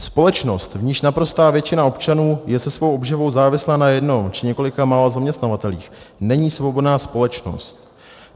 Společnost, v níž naprostá většina občanů je se svou obživou závislá na jednom či několika málo zaměstnavatelích, není svobodná společnost.